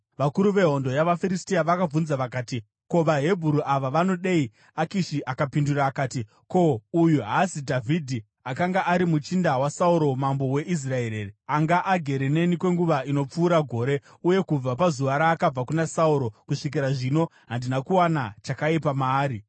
Vakuru vehondo yavaFiristia vakabvunza vakati, “Ko, vaHebheru ava vanodei?” Akishi akapindura akati, “Ko, uyu haazi Dhavhidhi, akanga ari muchinda waSauro mambo weIsraeri here? Anga agere neni kwenguva inopfuura gore, uye kubva pazuva raakabva kuna Sauro kusvikira zvino, handina kuwana chakaipa maari.”